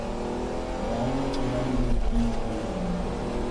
Dhano ema miyo kich bedo mangima.